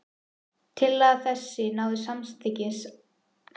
Tillaga þessi náði samþykki Alþingis, þótt eigi yrði hún framkvæmd.